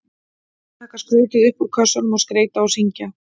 Taka skrautið upp úr kössunum og skreyta og syngja.